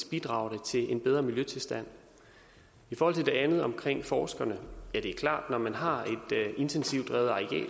bidrager det til en bedre miljøtilstand i forhold til det andet om forskerne er det klart at når man har det intensivt drevne areal